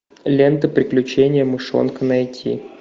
лента приключения мышонка найти